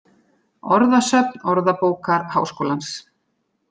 Orðasöfn Orðabókar Háskólans.